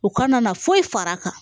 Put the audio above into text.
U kana na foyi fara a kan